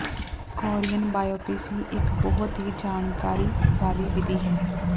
Korean biopsy ਇਕ ਬਹੁਤ ਹੀ ਜਾਣਕਾਰੀ ਵਾਲੀ ਵਿਧੀ ਹੈ